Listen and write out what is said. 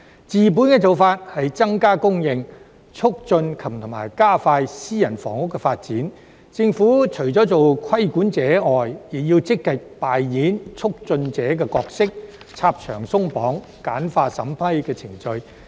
治本的做法是增加供應，促進及加快私人房屋的發展，當中政府除了做規管者外，亦要積極扮演促進者的角色，拆牆鬆綁，簡化審批程序。